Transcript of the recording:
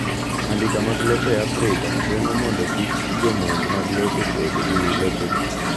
Andika mag lope e Afrika geng'o mondo kik jomonj mag lope bed gi lopego